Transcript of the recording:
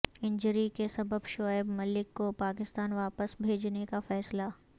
injury کے سبب شعیب ملک کو پاکستان واپس بھیجنے کا فیصلہ